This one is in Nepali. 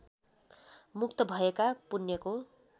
मुक्त भएर पुण्यको